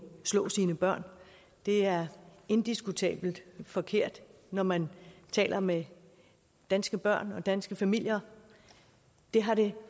slå sine børn er indiskutabelt forkert når man taler med danske børn og danske familier det har det